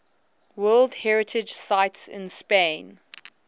world heritage sites in spain